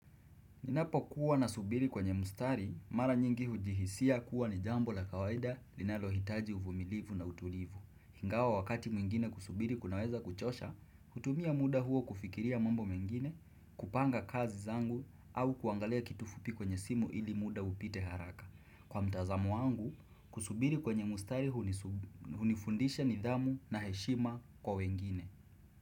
Ninapo kuwa na subiri kwenye mustari, mara nyingi hujihisia kuwa ni jambo la kawaida linalo hitaji uvumilivu na utulivu. Hingawa wakati mwingine kusubiri kunaweza kuchosha, kutumia muda huo kufikiria mambo mengine, kupanga kazi zangu au kuangalia kitu fupi kwenye simu ili muda upite haraka. Kwa mtazamo wangu, kusubiri kwenye mustari hunifundisha nidhamu na heshima kwa wengine.